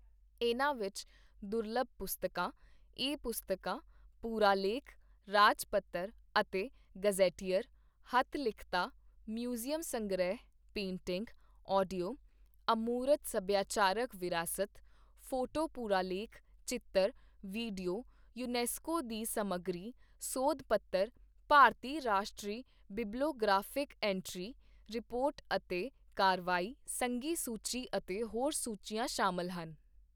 ਇਨ੍ਹਾਂ ਵਿੱਚ ਦੁਰਲੱਭ ਪੁਸਤਕਾਂ, ਈ ਪੁਸਤਕਾਂ, ਪੁਰਾਲੇਖ, ਰਾਜਪੱਤਰ ਅਤੇ ਗੈਜ਼ੇਟੀਅਰ, ਹੱਥ ਲਿਖਤਾਂ, ਮਿਊਜ਼ੀਅਮ ਸੰਗ੍ਰਿਹ, ਪੇਟਿੰਗ, ਆਡੀਓ, ਅਮੂਰਤ ਸਭਿਆਚਾਰਕ ਵਿਰਾਸਤ, ਫੋਟੋ ਪੁਰਾਲੇਖ, ਚਿੱਤਰ, ਵੀਡੀਓ, ਯੂਨੈਸਕੋ ਦੀ ਸਮੱਗਰੀ, ਸੋਧ ਪੱਤਰ, ਭਾਰਤੀ ਰਾਸ਼ਟਰੀ ਬਿਬਲੀਓਗ੍ਰਾਫਿਕ ਐਂਟਰੀ, ਰਿਪੋਰਟ ਅਤੇ ਕਾਰਵਾਈ, ਸੰਘੀ ਸੂਚੀ ਅਤੇ ਹੋਰ ਸੂਚੀਆਂ ਸ਼ਾਮਲ ਹਨ।